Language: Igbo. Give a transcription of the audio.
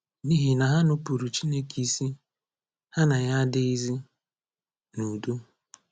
N’ihi na ha nupuuru Chineke isi, ha na ya adịzighị n’udo